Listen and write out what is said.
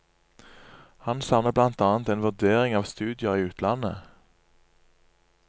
Han savner blant annet en vurdering av studier i utlandet.